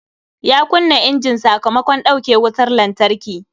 Ya kunna injin sakamakon dauke wutar lantarki